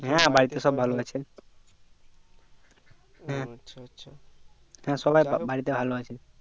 হ্যাঁ বাড়িতে সব ভালো আছে হ্যাঁ হ্যাঁ সবাই বাড়িতে ভালো আছে আচ্ছা আচ্ছা